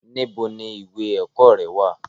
Níbo ni ìwé ẹ̀kọ́ rẹ wà?